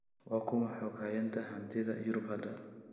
waa kuma xoghayaha hantida yurub hadda